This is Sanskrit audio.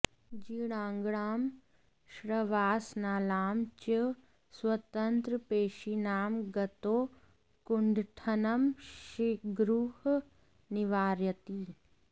जीर्णाङ्गनां श्वासनालानां च स्वतन्त्रपेशीनां गतौ कुण्ठनं शिग्रुः निवारयति